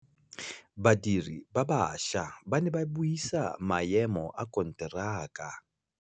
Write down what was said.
Badiri ba baša ba ne ba buisa maêmô a konteraka.